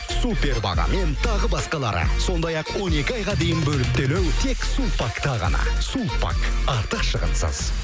супер бағамен тағы басқалары сондай ақ он екі айға дейін бөліп төлеу тек сулпакта ғана сулпак артық шығынсыз